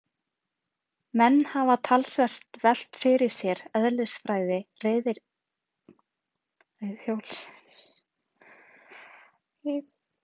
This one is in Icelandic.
Menn hafa talsvert velt fyrir sér eðlisfræði reiðhjólsins.